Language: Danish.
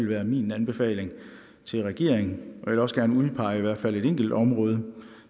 være min anbefaling til regeringen og vil også gerne udpege i hvert fald et enkelt område